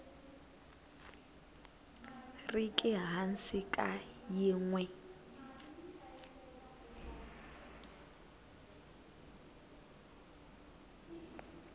riki hansi ka yin we